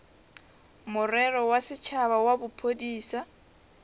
morero wa setšhaba wa bophodisa